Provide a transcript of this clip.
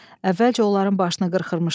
Əvvəlcə onların başını qırxırmışlar.